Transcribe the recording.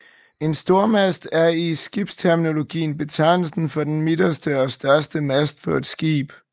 En Stormast er i skibsterminologien betegnelsen for den midterste og største mast på et skib